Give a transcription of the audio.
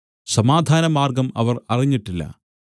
സമാധാനമാർഗ്ഗം അവർ അറിഞ്ഞിട്ടില്ല